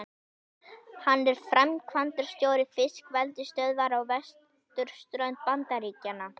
Hann er framkvæmdastjóri fiskeldisstöðvar á vesturströnd Bandaríkjanna.